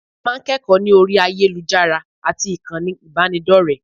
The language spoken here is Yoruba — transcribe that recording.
A máa ń kẹ́kọ̀ọ́ ní orí ayélujára àti ìkànnì ìbánidọ́rẹ̀ẹ́